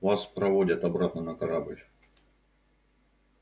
вас проводят обратно на корабль